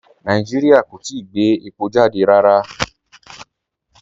Rárá, Nàìjíríà kò tìí gbẹ̀ èpọ̀ jàdẹ̀ rárá.